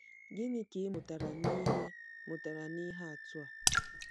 Gịnị ka ị mụtara n’ihe mụtara n’ihe atụ a?